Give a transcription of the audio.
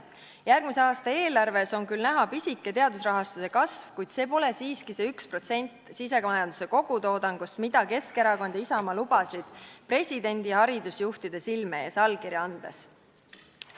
Järgmise aasta eelarves on küll näha pisike teadusrahastuse kasv, kuid see pole siiski see 1% sisemajanduse kogutoodangust, mida Keskerakond ja Isamaa lubasid presidendi ja haridusjuhtide silme ees allkirja andes.